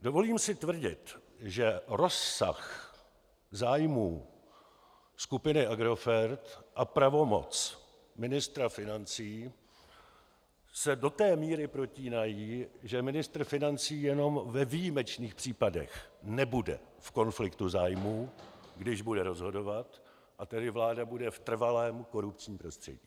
Dovolím si tvrdit, že rozsah zájmů skupiny Agrofert a pravomoc ministra financí se do té míry protínají, že ministr financí jenom ve výjimečných případech nebude v konfliktu zájmů, když bude rozhodovat, a tedy vláda bude v trvalém korupčním prostředí.